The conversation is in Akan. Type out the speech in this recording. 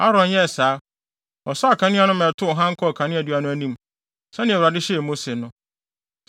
Aaron yɛɛ saa; ɔsɔɔ akanea no ma ɛtow hann kɔɔ kaneadua no anim, sɛnea Awurade hyɛɛ Mose no.